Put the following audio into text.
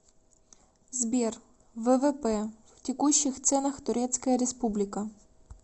сбер ввп в текущих ценах турецкая республика